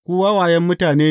Ku wawayen mutane!